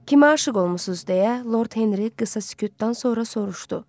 Kimə aşiq olmusunuz deyə Lord Henry qısa sükutdan sonra soruşdu.